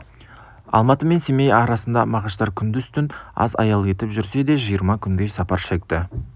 алматы мен семей арасына мағаштар күндіз-түн аз аял етіп жүрсе де жиырма күндей сапар шекті